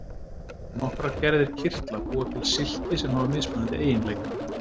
Nokkrar gerðir kirtla búa til silki sem hafa mismunandi eiginleika.